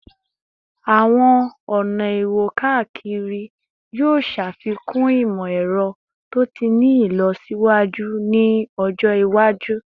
Awọn ọna iwo-kakiri yoo ṣafikun imọ-ẹrọ to ti ni ilọsiwaju ni ọjọ iwaju